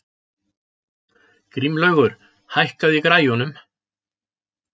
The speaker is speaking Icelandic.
Grímlaugur, hækkaðu í græjunum.